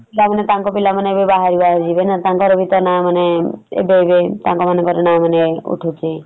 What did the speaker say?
ତାଙ୍କ ପିଲାମାନେ ଏବେ ବାହାରକୁ ବାହାରକୁ ଯିବେନା ଏବେ ତାଙ୍କର ବି ତ ନା ମାନେ ଏବେ ଏବେ ତାଙ୍କ ମାନଙ୍କର ନା ମାନେ ଉଠୁଚି ।